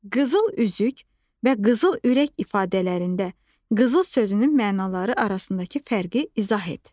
Qızıl üzük və qızıl ürək ifadələrində qızıl sözünün mənaları arasındakı fərqi izah et.